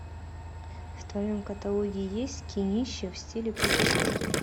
в твоем каталоге есть кинище в стиле путешествия